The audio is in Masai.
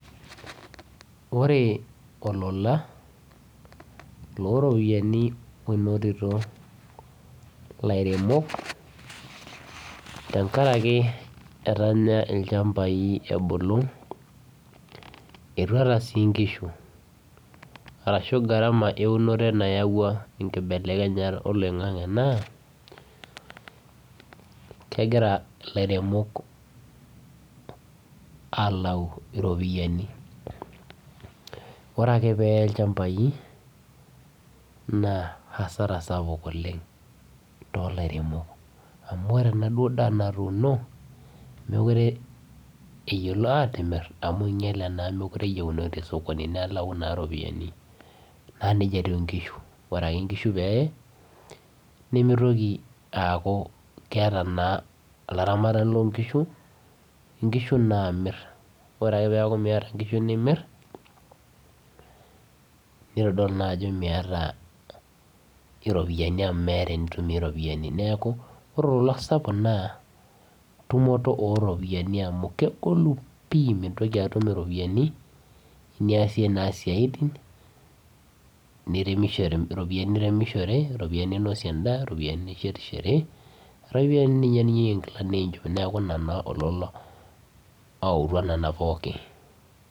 Ore olola loropiyiani onotito ilairemok tenkarake etanya ilchambai ebulu etuata sii inkishu arashu gharama eunore nayawue enkibelekenyata oloing'ang'e naa kegira ilairemok alau iropiyiani ore ake peye ilchambai naa hasara sapuk oleng tolairemok amu ore enaduo daa natuuno mekure eyiolo atimirr amu einyiale naa mekure eyiunoi tesokoni nelau naa iropiyiani naa nejia etiu inkishu ore ake inkishu peeye nemitoki aaku keeta naa olaramatani lonkishu inkishu namirr ore ake peaku miyata inkishu nimirr nitodolu naa ajo miyata iropiyiani amu meeta enitumie iropiyiani neeku ore olola sapuk naa tumoto oropiyiani amu kegolu pii mintoki atum iropiyiani eniasie naa isiaitin niremisho iropiyiani niremishore iropiyiani ninosie endaa iropiyiani nishetishore arashu ninye eniyieu enkila ninye ninchop.